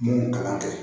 Mun kalan tɛ